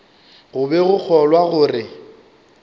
go be go kgolwa gore